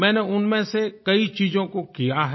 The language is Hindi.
मैंने उनमें से कई चीजों को किया है